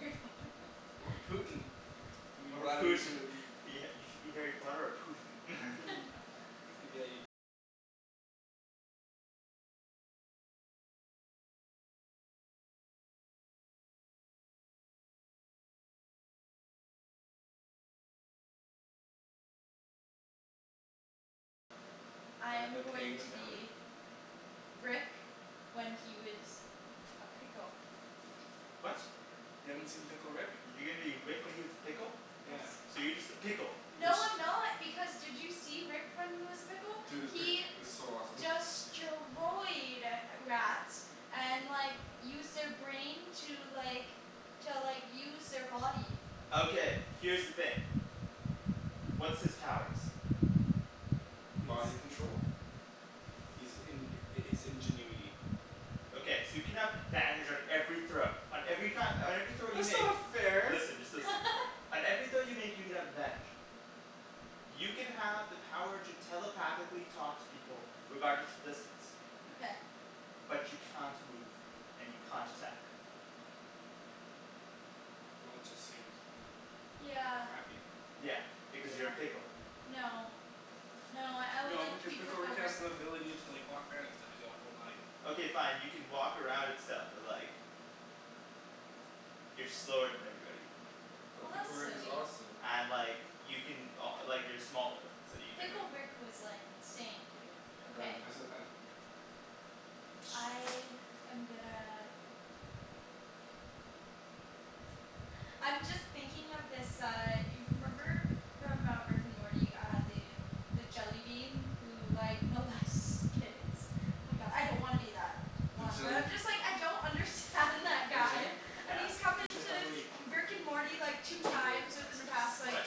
Harry Potter? Or Putin. Be Or Vladimir Putin. Putin. You should be Harry Potter or Putin. I By the, am by paying going the to family? be Rick when he was a pickle. What? You haven't seen Pickle Rick? You're gonna be Rick when he was a pickle? Yes. Yeah. So you're just a pickle. It's No I'm not, because did you see Rick when he was a pickle? Dude, pi- He it was so awesome. destroyed rats and like used their brain to like to like use their body. Okay, here's the thing. What's his powers? Body control. He's in- his ingenuity. Okay, so you can have advantage on every throw on every ki- on every throw you That's make. not fair! Listen, just listen. On every throw you make you can have advantage. You can have the power to telepathically talk to people regardless of distance. Okay. But you can't move, and you can't attack. Well that just seems kind of Yeah. crappy. Yeah, because you're Yeah. a pickle. No. No, I would No like to because be Pickle Pickle Rick has Rick. the ability to like walk around and stuff. He's all full body. Okay fine, you can walk around and stuff, but like you're slower than everybody. But Well, Pickle that's Rick is silly. awesome. And like you can o- like you're smaller so you can Pickle Rick was like insane, dude, Ryan, okay. pass me the fan? I am gonna I'm just thinking of this uh y- remember from uh Rick and Morty uh the the jellybean who like molests kids The jellybeans Arjan, Yeah you should have like What?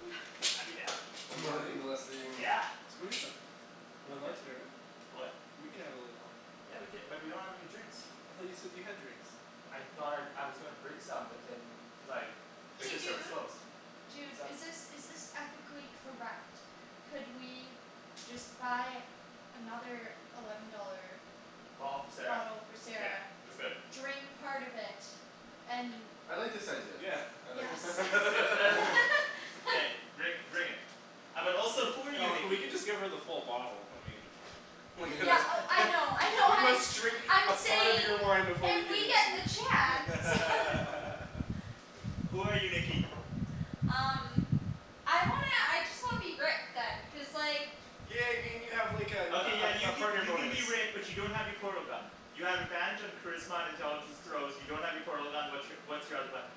Yeah. I'd be down. Do And you mole- have any? molesting Yeah. Let's go eat them. We're Okay. allowed sharing? What? We can have a little Yeah we cou- but we don't have any drinks. I thought you said that you had drinks. I thought I, I was gonna bring some but then like Hey liquor store was dude, closed. dude is Sup? this is this ethically correct? Could we just buy another eleven dollar Bottle for Sarah? bottle for Yeah Sarah, we could. drink part of it, and I like this idea. Yeah. I like Yes this idea. Let's do it. K, bring bring it. Uh but also who are you No we Nikki? can just give her the full bottle, I mean I We mean gonna Yeah oh I know I we know, I'm must drink a I'm part of saying your wine before we if give we it get to you the chance no Who are you Nikki? Um I wanna, I just wanna be Rick then, cuz like Yeah I mean you have like Okay yeah a a you a can partner you can bonus. be Rick but you don't have your portal gun. You have advantage on charisma and intelligence throws, you don't have your portal gun, what's your what's your other weapon?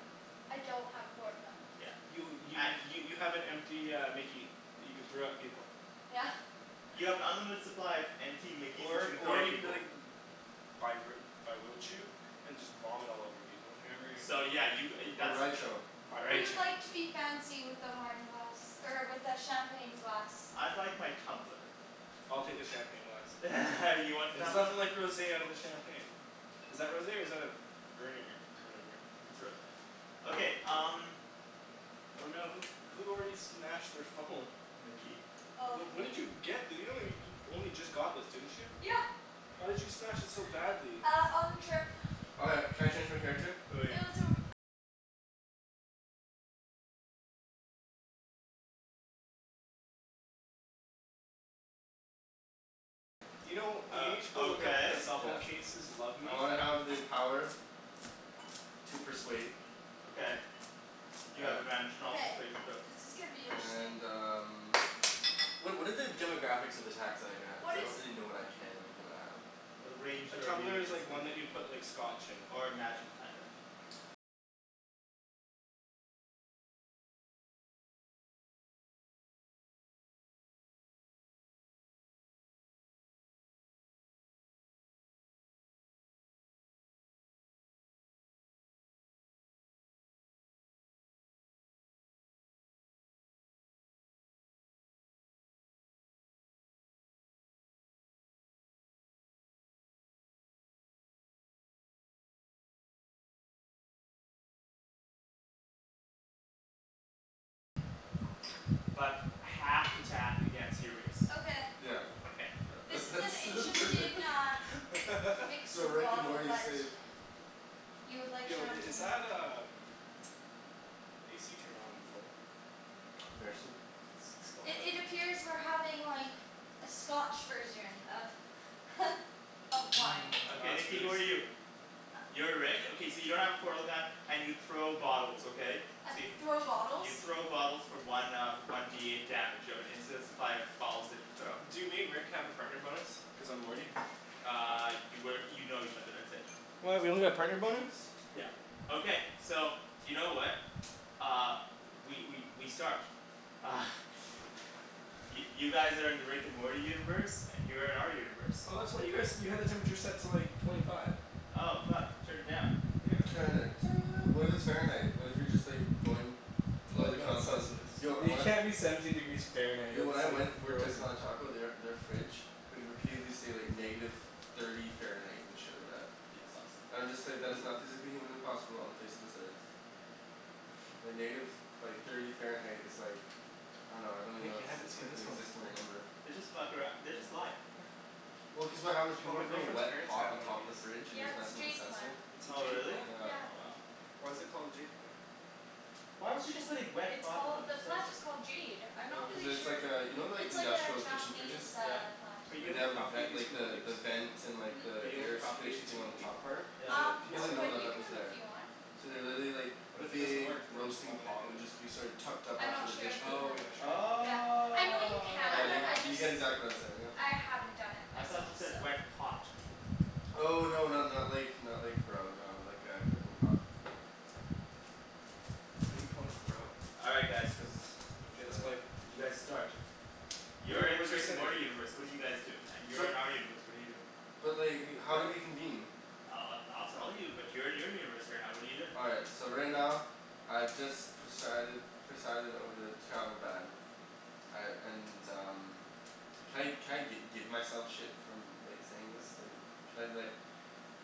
I don't have a portal gun. Yeah. You y- y- you have an empty uh mickey that you can throw at people. Yeah. You have an unlimited supply of empty mickeys that you Or can throw or at you can be people. like and just vomit all over people. Or whatever. So yeah you g- uh you that's what- Who would like to be fancy with the wine glass er with the champagne glass? I'd like my tumbler. I'll take the champagne glass. You want the There's tumbler? nothing like rosé out of a champagne. Is that rosé or is that a v- v- vernier whatever? It's rosé. Okay, um Oh no, who who already smashed their phone? Nikki. Oh Wh- when did me. you get this? You only you only just got this didn't you? Yeah. How did you smash it so badly? Uh on the trip. Okay, can I change my character? Who are you? You know you Uh, need to go look at the okay. cell phone Yeah. cases "Love I me." wanna have the power to persuade Okay, you have advantage on all Okay, persuasion throws. this is gonna be interesting. and um Wha- what are the demographics of attacks that I can have? Cuz What I is don't really know what I can and cannot have. It'll rain A here tumbler is immediately. like one that you put like scotch in. Or magic, kinda but half th- attack against your race Okay. Yeah. Okay, yeah. This That's is that's an that's interesting perfect uh mix Yo, of a Rick and bottle Morty is but safe. You would like Yo i- is champagne that um AC turned on full? Merci. Cuz it's it's still I- hot in It here. appears we're having like a scotch version of of wine. Okay That's Nikki really who are you? sleep. You're Rick? Okay so you don't have a portal gun and you throw bottles, okay? So you Throw bottles? You throw bottles for one uh one D eight damage. You have an infinite supply of bottles that you throw. Do me and Rick have a partner bonus cuz I'm Morty? Uh you work, you know each other, that's it. What? We don't get a partner bonus? Yeah. Okay, so you know what? Uh, we we we start. Uh Y- you guys are in the Rick and Morty universe, and you're in our universe. Oh that's what you guys you had the temperature set to like twenty five. Oh fuck. Turn it down. Yeah. Turn it do- what if it's Fahrenheit? What if you're just like going below Well the no, it's confines, Celcius. yo I You wan- can't be seventeen degrees Fahrenheit; Yo when I that's like went worked at frozen. Taco they are their fridge would repeatedly say like negative thirty Fahrenheit and shit like that. That's awesome. I'm just like, that is not physically humanly possible on the face of this earth. Like negative, like thirty Fahrenheit is like I dunno, I don't even know how Nikki, to I say, hadn't seen like an this one before. inexistable number. They just fuck arou- they just lie Well cuz of how those people Oh were my putting girlfriend's wet parents pot have on one of top of these. the fridge and it Yeah was it's a messing with the jade plant. sensor. It's a Oh jade really? plant? Yeah. Oh wow. Why is it called a jade plant? Why would you go Just putting wet it's pot on top called, of the a plant sensor? is called jade. I'm not Cuz Oh. really it's sure. like uh, you know like It's like a industrial kitchen Japanese fridges? Yeah. uh plant. Are you Way, able they to have the ven- propagate these like from the the leaves? the vent and Hmm? Are the you able to air propagate circulation these thing from on a the leaf? top part? Is Yeah. Um it People no a didn't know second but that you one? that was can if there. you want. So they literally like, a But if it doesn't big work then why roasting would I do pot would it? just be sort of tucked up I'm after not the sure dish if you pit. Oh, you're can. not Oh sure? Okay. Yeah. I know you Yeah can, y- I wow. you just, get exactly what I'm saying now. I haven't done it I thought myself, you so said "wet pot". Oh no not not like not like grow, no. Like a cooking pot. Why do you call it grow? All right guys. Cuz it's K, let's play. bad. You guys start. You're Where in the where's our Rick and setting? Morty universe, what are you guys doing? And you're So in our universe, what are you doing? But like, Wait, how do what? we convene? I'll I'll I'll tell you, but you're in your universe right now, what are you doing? All right, so right now, I've just presided presided over the travel ban. I and um Can I can I gi- give myself shit from like saying this? Like, can I be like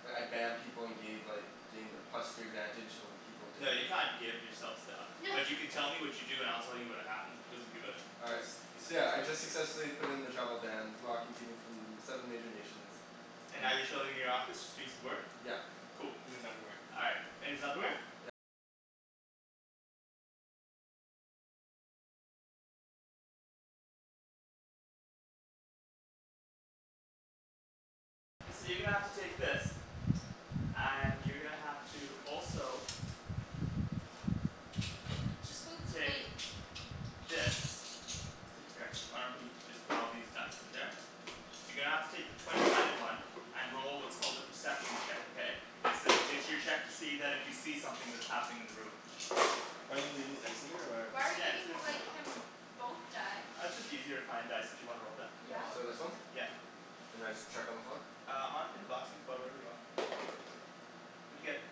like I ban people and gave like gain the plus three advantage over people No, you definitive can't give yourself stuff, but you can tell me what you do and I'll tell you what happened as you do it. All right, Cuz he's a so yeah I dungeon just master. successfully put in the travel ban, blocking people from them seven major nations. And Um now you're chilling in your office just doing some work? Yeah. Cool. In his underwear. All right, in his underwear? And you're gonna have to also Just move the take plate. this. That's it here. Why don't we just put all these dice in there. You're gonna have to take the twenty sided one and roll what's called a perception check, okay? It's to it's your check that if you see something that's happening in the room. Do I need to leave these dice in here or? Why are you Yeah, just leave giving them in there. like him both die? Uh it's just easier to find dice that you wanna roll then. You have Yeah? a lot of So this one? choices. Okay. Yeah. And I just chuck on the floor? Uh on in the box in the floor, wherever you want. What'd you get?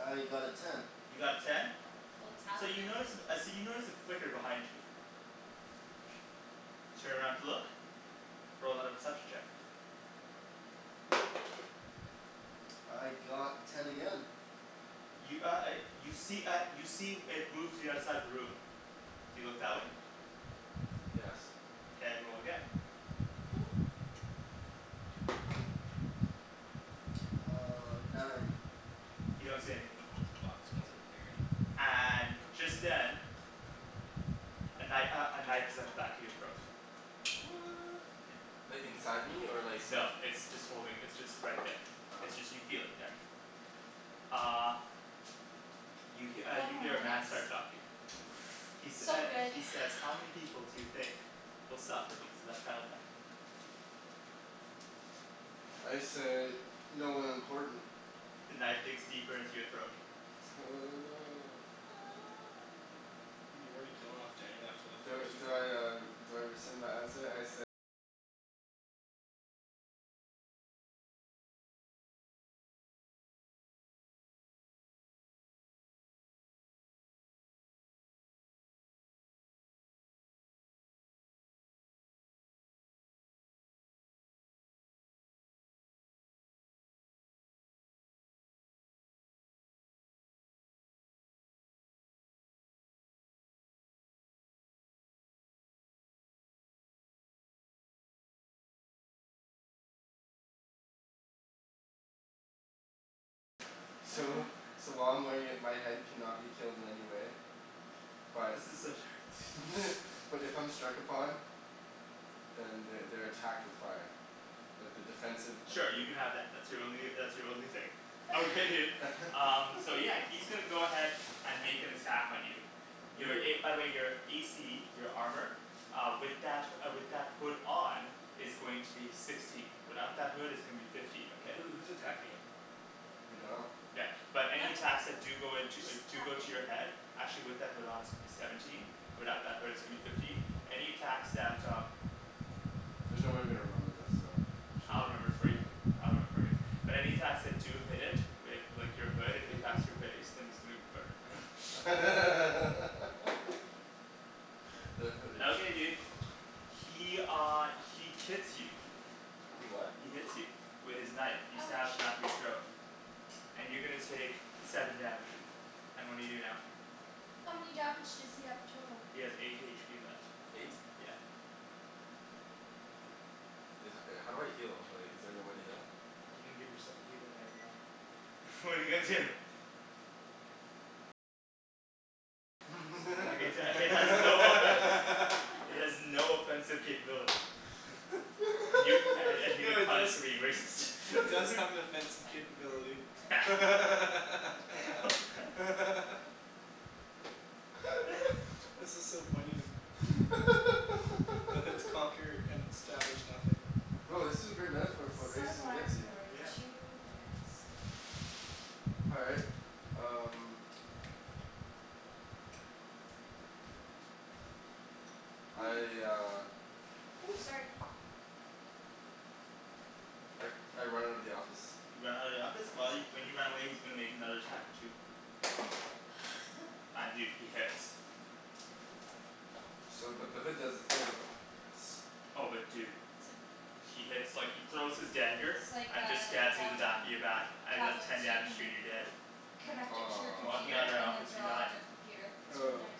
I got a ten. You got a ten? Oh it's So you happenin' notice uh so you notice a flicker behind you. You turn around to look. Roll another perception check. I got ten again. You uh uh you see uh you see it move to the other side of the room. Do you look that way? Yes. Mkay, roll again. Uh nine. You don't see anything. This box smells like nerd. And just then A kni- uh a knife is at the back of your throat. What! Yeah. Like, I wonder how inside many me or minutes. like there? No. It's just holding, it's just right there. Ah. It's just you feel it there. Uh You he- uh Four you more hear a man minutes. start talking. He sa- So uh good. he says "How many people do you think will suffer because of that travel ban?" I say "no one important." The knife digs deeper into your throat. Oh no. You're already killing off Daniel after the first roll? So so while I'm wearing it my head cannot be killed in any way. But This is so terrible but if I'm struck upon Then they they're attacked with fire. Like the defensive abil- Sure, you can have that. That's your only uh that's your only thing. Okay dude, um so yeah he's gonna go ahead and make an attack on you. Wait, Your who a, by wh- the way your a c, your armor Uh with that uh with that hood on is going to be sixteen. Without that hood it's going to be fifteen, okay? Who who's attacking him? We dunno. Yeah, but any attacks that do go into uh Just do go to attacking. your head actually with that hood on is going to be seventeen, without that hood it's gonna be fifteen. Any attacks that um There's no way I'm gonna remember this so should I'll remember it for we you, uh I'll remember it for you. But any attacks that do hit it with like your hood, if he attacks your face, then he's gonna burn the hooded Okay, dude. He uh he kits you. He what? He hits you. With his knife. He stabs the Ouch. back of your throat. And you're gonna take seven damage. And what do you do now? How many damage does he have total? He has eight h p left. Eight. Yeah. Is that, uh how do I heal? Like, is there no way to heal? You didn't give yourself a healing item though. What're you gonna do? Like it uh it has no effect It has no offensive capability. Y- and and you No get it does punished for being racist it does have an offensive capability This is so poignant. The hoods conquer and establish nothing. Yo, this is a great metaphor for what Set racism gets alarm you. for two minutes. All right, um I uh Ooh, sorry. I I run out of the office You run out of the office? While you, when you run away he's gonna make another attack at you. And dude, he hits. So but the hood does the thing. Yes. Oh but dude. So He hits like, he throws his dagger It's like and it just a stabs you in the back Wacom in your back and it does tablet ten so you damage to you can and you're dead. connect it to your Walking Aw computer out of that and then office you draw die. on your computer. It's really Oh. nice.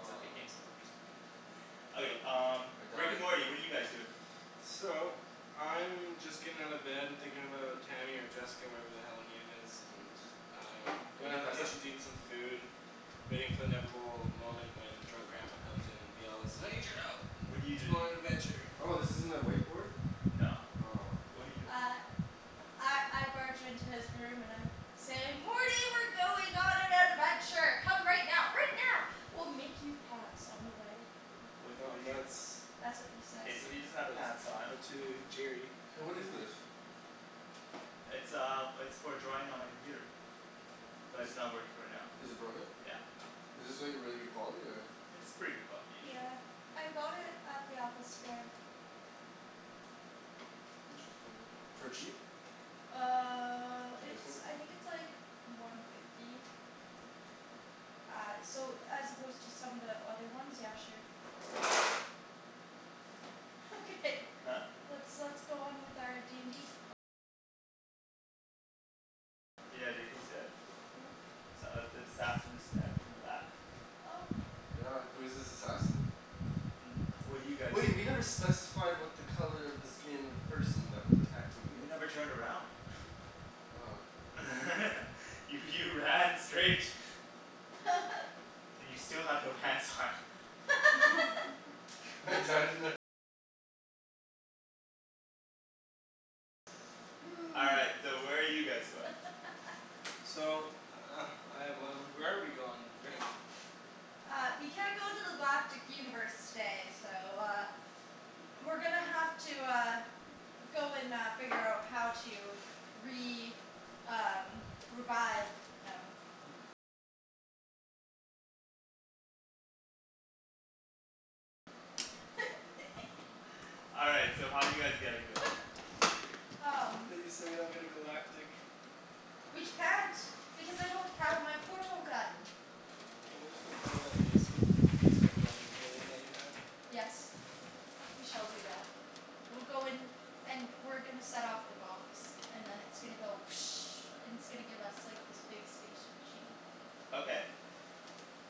It's okay, what you said. Okay Okay. um I Rick and died. Morty, what are you guys doing? So, I'm just getting out of bed and thinking about Tammy or Jessica or whatever the hell her name is, and I'm Oh going can you down to the pass that? kitchen to eat some food. Waiting for the inevitable moment when drunk grandpa comes in and yells "I need your help What're you let's go doing? on an adventure!" Oh this isn't a whiteboard? No. Aw What're you doing? Uh I I barge into his room and I say "Morty we're going on an adventure. Come right now, right now. We'll make you pants on the way." What No what do you that's That's what he says. K, so he doesn't have But pants on. but to Jerry Hey what is this? It's um it's for drawing on my computer. But Is it's not working right now. is it broken? Yeah. Is this like really good quality or? It's pretty good quality usually. Yeah, I got it at the Apple store. Interesting. For cheap? Uh With your it's, discount? I think it's like one fifty. Uh so as opposed to some of the other ones, yeah sure. Okay, Huh? let's let's go on with our d n d Yeah dude, he's dead. Oh S- uh, an assassin just stabbed him in the back. Oh Yeah, who's this assassin? What do you guys Wait, we never specified what the color of the skin of the person that was attacking me You was. never turned around. Oh. You you ran straight. You still have no pants on. All right, so where are you guys going? So I have one, where are we going, Rick? Uh we can't go to the galactic universe today so uh We're gonna have to uh go and uh figure out how to re- um revive him. All right, so how are you guys getting there? um We so we don't get a galactic We can't because I don't have my portal gun. Can't we just go play with that basement the basement dwelling alien that you have? Yes. We shall do that. We'll go and and we're gonna set off the box. And then it's gonna go and it's gonna give us like this big space machine. Okay.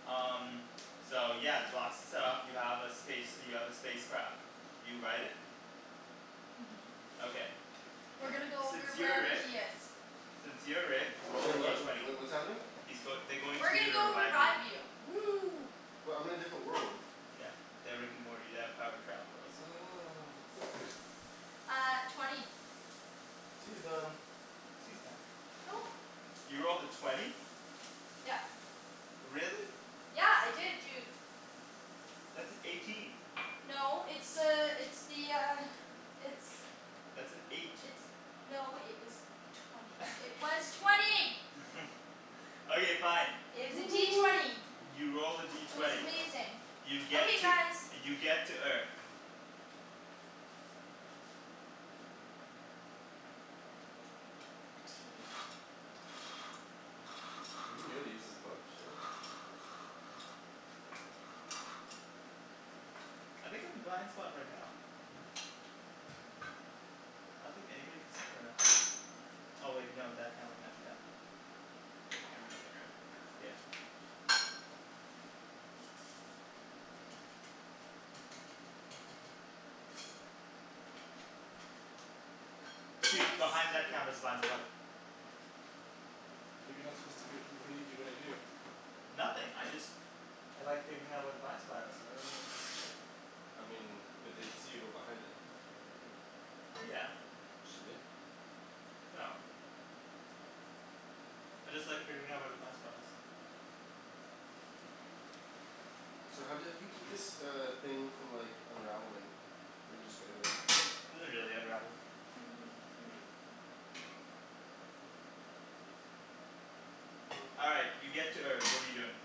Um so yeah, the box is set off. You have a space you have a space craft. You ride it. Mhm. Okay. We're gonna go Since over you're wherever Rick. he is. Since you're Rick, roll the Sorry D what? Wh- twenty. wh- what's happening? He's goi- they're going We're to you gonna to go revive you. revive you. Woo but I'm in a different world. Yeah. They're Rick and Morty. They have the power to travel worlds. Oh Uh twenty Tea is done. Tea's done. Oh. You rolled a twenty? Yep. Really? Yeah. I did dude. That's an eighteen. No it's uh it's the uh it's That's an eight. It's no it was twenty. It was twenty! Okay, fine. It was a D twenty. You rolled a D It was twenty. amazing. You get Okay to guys. you get to Earth. Tea. You really use this book? Shit. I think I'm a blind spot right now. I don't think anybody can see me right now. Oh wait, no that camera can, damn. There are cameras on the ground? Yeah. Dude, behind that camera's Tasty. a blind spot. But you're not supposed to b- what're you gonna do? Nothing, I just I like figuring out where the blind spot is. Oh okay. I mean, but they'd see you go behind it. Yeah. Should we? No. I just like figuring out where the blind spot is. So how do you how do you keep this uh thing from like unraveling? Or do you just go like this? It doesn't really unravel. Mm, maybe a bit more. All right, you get to Earth. What are you doing?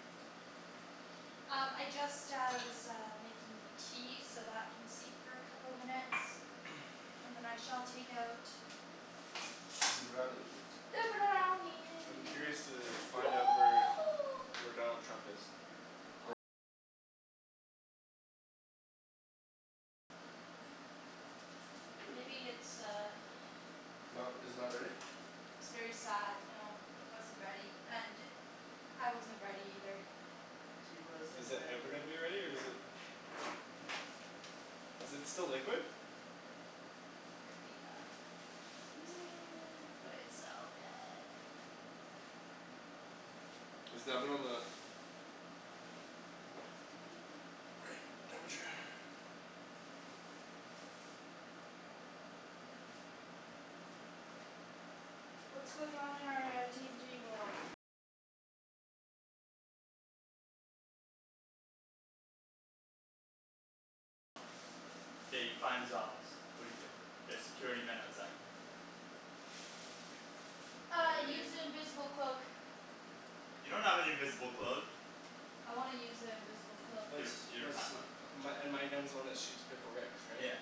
Um I just uh was uh making the tea, so that can steep for a couple minutes. And then I shall take out Zee brownies. the I'm brownie curious to find out where where Donald Trump is. Maybe it's uh Not r- is it not ready? It was very sad, no. It wasn't ready, and I wasn't ready either. He wasn't Is that ready. ever gonna be ready or is it Is it still liquid? Apparently yeah, seems like it. But it's so good. Is the oven on the right temperature? K, you find his office. What do you do? There's security men outside. Uh, I use the invisible cloak. You don't have an invisible cloak. I wanna use an invisible cloak. You Let's don- you don't let's, have one. my and my gun's the one that shoots Pickle Ricks, right? Yeah.